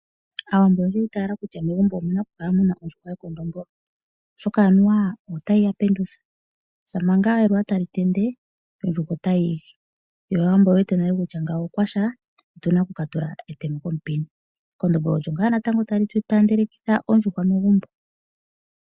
Aawambo oyeli yi itayela kutya megumbo omuna okukala muna ondjuhwa ye kondombolo oshoka anuwa otayi ya pendula . Shampa ngaa eluwa tali tende yo ondjuhwa otayi igi yo aawambo oye wete nale kutya okwasha otuna okuka tula etemo komupini. Ekondombolo olyo ngaa natango tali taandelitha oondjuhwa megumbo.